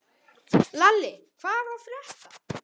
Lalli, hvað er að frétta?